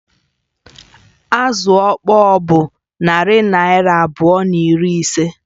Azụ ọkpọr bụ narị naịra abụọ na iri ise